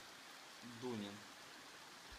дунин